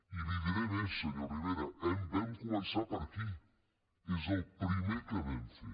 i li diré més senyor rivera vam començar per aquí és el primer que vam fer